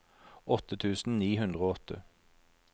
åtte tusen ni hundre og åtte